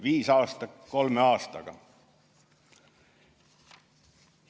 Viis aastat kolme aastaga!